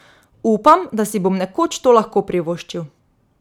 Upam, da si bom nekoč to lahko privoščil.